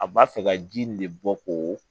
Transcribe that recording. A b'a fɛ ka ji nin de bɔ k'o